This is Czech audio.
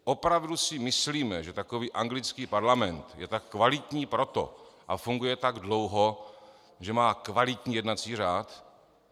Opravdu si myslíme, že takový anglický parlament je tak kvalitní proto a funguje tak dlouho, že má kvalitní jednací řád?